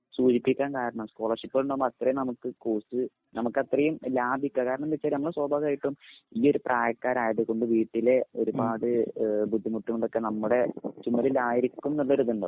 സൂചിപ്പിക്കാൻ കാരണം സ്കോളർഷിപ്പ് ഉണ്ടാകുമ്പോൾ അത്രയും നമുക്ക് കോസ്റ്റ് നമുക്കത്രയും ലാഭിക്കാം. കാരണംന്നുവെച്ചാ നമ്മൾ സ്വാഭാവികമായിട്ടും ഈയൊരു പ്രായക്കാരായതുകൊണ്ട് വീട്ടിലെ ഒരുപാട് ഏഹ് ബുദ്ധിമുട്ടുകളൊക്കെ നമ്മുടെ ചുമലിലായിരിക്കും എന്നുള്ളൊരിതുണ്ടാവും.